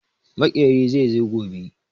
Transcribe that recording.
Maƙeri zai zo gobe.